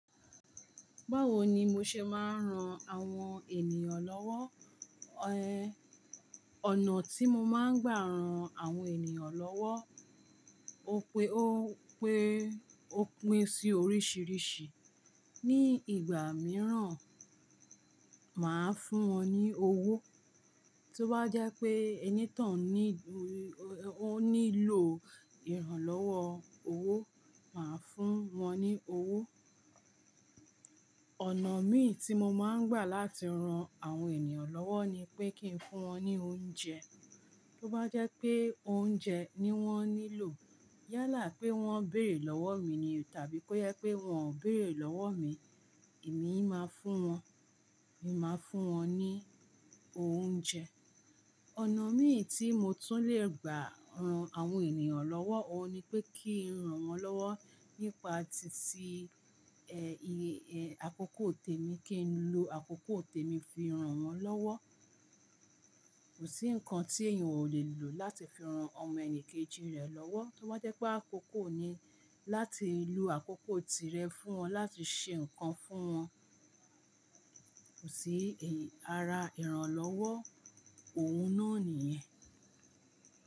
Báwo ni mo ṣe máa ń ran àwọn ènìyàn lọ́wọ́? Ọ̀nà tí mo máa ń gbà ran àwọn ènìyàn lọ́wọ́ ó pe, ó pé, ó pín sí oríṣìíríṣìí. Ni ìgbà mìíràn, màá fún wọn ní owó. Tí ó bá jẹ́ pé ẹni tán ní, ó nílò ìrànlọ́wọ́ owó, màá fún wọn ní owó. Ọ̀nà mí tí mo máa ń gbà láti ran àwọn ènìyàn lọ́wọ́ ni pé kí n fún wọn ní oúnjẹ. Tí ó bá jẹ́ pé oúnjẹ ni wọ́n nílò, yálà pé wọ́n béèrè lọ́wọ́ mi ni tàbí pé yẹ pé wọ́n ò béèrè lọ́wọ́ mi, èmi máa fún wọn, èmi máa fún wọn ní oúnjẹ. Ọ̀nà mí tí mo tún lè gbà ran àwọn ènìyàn lọ́wọ́ òun ni pé kí n ran wọ́n lọ́wọ́ nípa ti sí, ẹ, ì, ẹ, àkókò tèmi, kí n lo àkókò tèmi fi ran wọ́n lọ́wọ́. Kò sí nǹkan tí èèyàn ò lè lò láti fi ran ọmọ ẹnìkejì rẹ̀ lọ́wọ́. Tí ó bá jẹ́ pé àkókò ni, láti lo àkókò tirẹ̀ fún wọn, láti ṣe nǹkan fún wọn. Kò sí èyí, ara ìrànlọ́wọ́ òun náà nìyẹn.